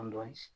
An dɔn